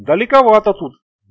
далековато тут